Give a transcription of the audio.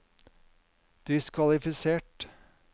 diskvalifisert